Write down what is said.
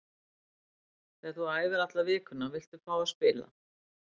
Þegar þú æfir alla vikuna viltu fá að spila.